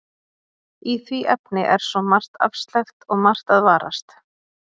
Í því efni er svo margt afsleppt og margt að varast.